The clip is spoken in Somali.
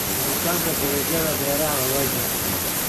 Koritaanka dalagyada beeraha waa waajib.